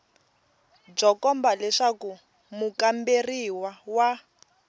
byo komba leswaku mukamberiwa wa